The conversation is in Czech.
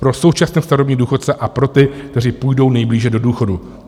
Pro současné starobní důchodce a pro ty, kteří půjdou nejblíže do důchodu.